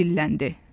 deyə dilləndi.